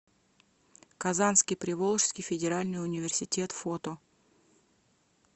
казанский приволжский федеральный университет фото